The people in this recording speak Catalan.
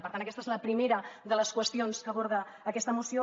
per tant aquesta és la primera de les qüestions que aborda aquesta moció